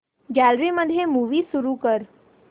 gallery मध्ये movie सुरू कर